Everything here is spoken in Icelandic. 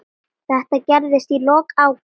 Þetta gerðist í lok ágúst.